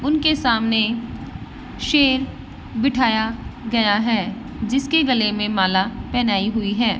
उनके सामने शेर बिठाया गया है जिसके गले में माला पहनाई हुई है।